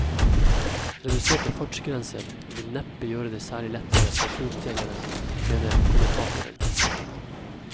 Reduserte fartsgrenser vil neppe gjøre det særlig lettere for fotgjengerne, mener kommentatoren.